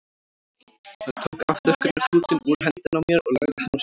Hann tók afþurrkunarklútinn úr hendinni á mér og lagði hann á sófaborðið.